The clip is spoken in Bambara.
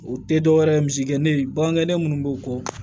O tɛ dɔwɛrɛ ye misikɛlen bagan kɛnɛ minnu b'u kɔ